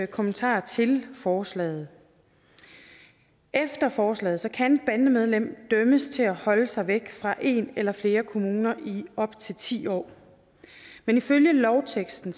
kommentarer til forslaget efter forslaget kan et bandemedlem dømmes til at holde sig væk fra en eller flere kommuner i op til ti år men ifølge lovteksten